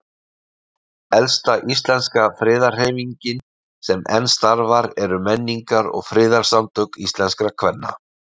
Elsta íslenska friðarhreyfingin sem enn starfar eru Menningar- og friðarsamtök íslenskra kvenna.